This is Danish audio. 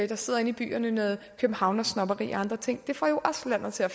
der sidder inde i byerne noget københavnersnobberi og andre ting det får jo også landet til at